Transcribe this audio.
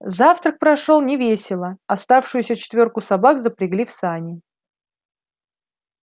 завтрак прошёл невесело оставшуюся четвёрку собак запрягли в сани